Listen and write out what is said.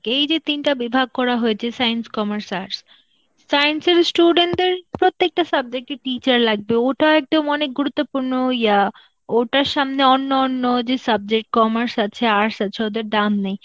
এই যে তিনটা বিভাগ করা হয়েছে science, commerce, arts, science এর student দের প্রত্যেকটা subject র teacher লাগবে, ওটা একদম গুরুত্বপূর্ণ ইয়া~ ওটার সামনে অন্য অন্য যে subject commerce আছে, arts আছে ওদের দাম নেই.